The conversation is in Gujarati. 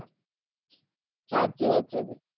સાચી વાત છે ભાઈ